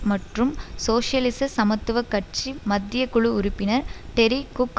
மற்றும் சோசியலிச சமத்துவ கட்சி மத்திய குழு உறுப்பினர் டெரி குக்